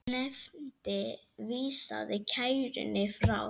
Nefndin vísaði kærunni frá.